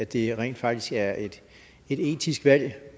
det rent faktisk er et etisk valg